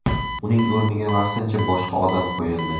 Uning o‘rniga vaqtincha boshqa odam qo‘yildi.